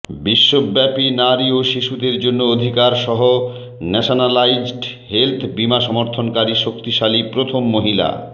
বিশ্বব্যাপী নারী ও শিশুদের জন্য অধিকার সহ ন্যাশনালাইজড হেলথ বিমা সমর্থনকারী শক্তিশালী প্রথম মহিলা